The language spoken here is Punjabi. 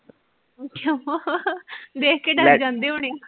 ਕਿਉਂ ਵੇਖ ਕੇ ਡਰ ਜਾਂਦੇ ਹੋਣੇ ਆ,